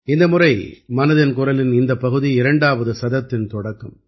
இந்த முறை மனதின் குரலின் இந்தப் பகுதி இரண்டாவது சதத்தின் தொடக்கம்